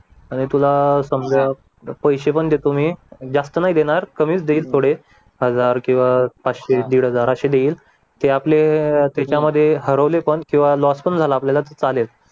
आणि तुला अह समजा पैसे पण देतो मी जास्त नाही देणार कमीच देईल थोडे हजार किंवा पाचशे दीड हजार असे देईल ते आपले त्याच्यामध्ये हरवले पण किंवा लॉस पण झाला आपल्याला तर चालेल